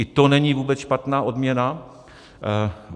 I to není vůbec špatná odměna.